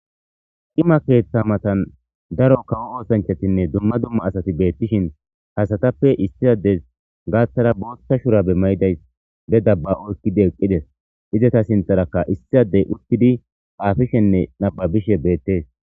Cima keeththa mathan daro kawo oosanchathinne dumma dumma asathi beeththishin ha asathappe issi addezi gaathara booththa shuraabe may7idayssi be daabba oykkidi eqqi des; izetha sinththarakka issi addey uththidi xaafishenne nabbabishe beeththees.